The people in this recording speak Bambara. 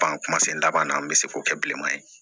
kuma se laban na an bɛ se k'o kɛ bilenman ye